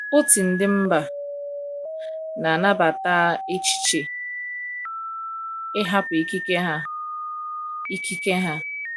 Otú ndi mba ,n'anabata echiche ịhapụ ikike ha. ikike ha.